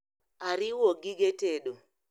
ariwo gige tedo